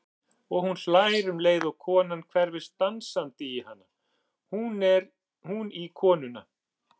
Og hún hlær um leið og konan hverfist dansandi í hana, hún í konuna.